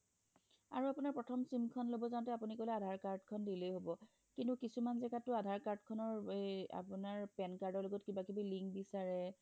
আৰু আপোনাৰ প্ৰথম sim খন লব যাওঁতে আপুনি কলে আধাৰ card খন দিলেই হব কিন্তু কিছুমান জাগাতয়ো আপোনাৰ pan card ৰ লগত কিবা কিনি link বিচাৰে